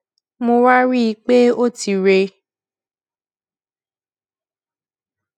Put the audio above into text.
mo wá rí i pé ó ti rè